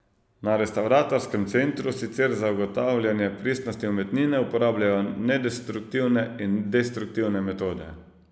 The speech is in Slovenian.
Na restavratorskem centru sicer za ugotavljanje pristnosti umetnine uporabljajo nedestruktivne in destruktivne metode.